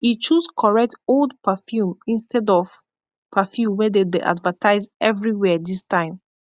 e choose koret old perfume instead of perfume wey dem dey advertise evrywia dis time